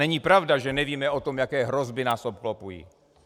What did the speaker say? Není pravda, že nevíme o tom, jaké hrozby nás obklopují.